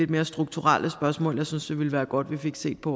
mere strukturelle spørgsmål jeg synes det ville være godt vi fik set på